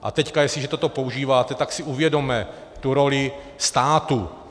A teď jestliže toto používáte, tak si uvědomme tu roli státu.